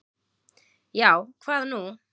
Já, hvað nú?